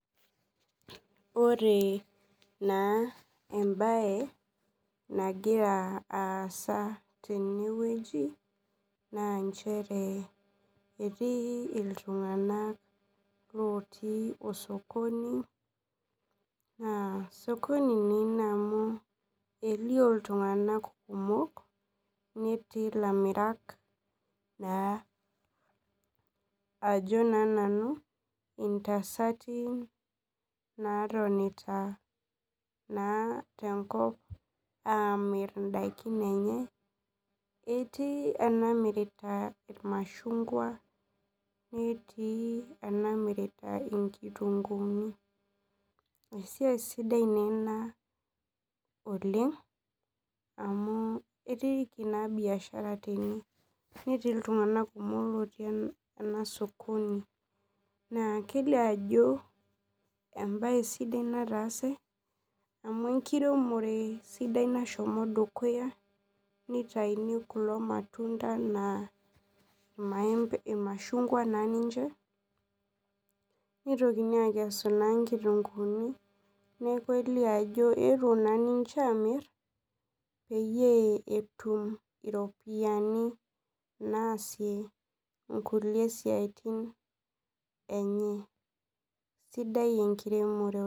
Ore na embae nagira aasa tenewueji na nchere etii ltunganak otii osokoni na osokoni ilo amu kelio ltunganak kumok netii lamirak na ajo na nanu intasati natonita tenkop amir indakin enye etii enamumira irmashungwa netii enamirita inkituunguuni na esiaia sidai ena oleng amu etiiki na biashara tene netii ltunganak kumok ele sokoni kelio ajo embae sidai nataase amuenkiremore sidai nashomo dukuya nitauni kulo matunda na irmashungwa nitokini akesu nkitunguuni neaku pepuo na ninche amir peyie etum iropiyiani naasie nkulie siatin enye.